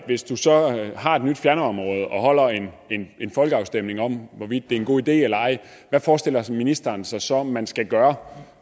hvis du så har et nyt fjernvarmeområde og holder en folkeafstemning om hvorvidt det er en god idé eller ej hvad forestiller ministeren sig så man skal gøre